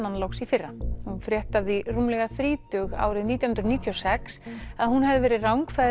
hann loks í fyrra hún frétti af því rúmlega þrítug árið nítján hundruð níutíu og sex að hún hefði verið